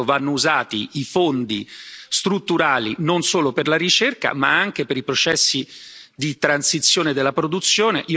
Per questo vanno usati i fondi strutturali non solo per la ricerca, ma anche per i processi di transizione della produzione.